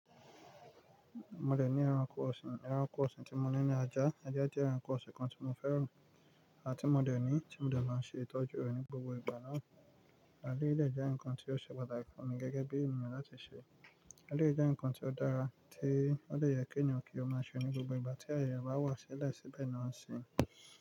Mo dẹ̀ ní ẹranko ọ̀sìn, ẹranko ọ̀sìn tí mo ní ní ajá, ajá jẹ́ ẹranko ọ̀sìn kan tí mo fẹ́ràn àti mo dẹ̀ ní, tí mo dẹ̀ máa ṣètọ́jú rẹ̀ ní gbogbo ìgbà náà, àdíè lẹ́ jẹ́ nǹkan tí ó ṣe pàtàkì fún mi gẹ́gẹ́ bí èèyàn láti ṣe. Àdíè jẹ́ nǹkan tí ó dára tí ó lè yẹ kí èèyàn kí ó máa ṣe ní gbogbo ìgbà tí ayọ̀ bá wà sílẹ̀ síbẹ̀ ni wọ́n ṣe.